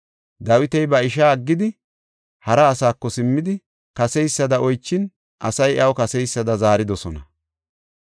Dawiti ba ishaa aggidi, hara asaako simmidi, kaseysada oychin asay iyaw kaseysada zaaridosona.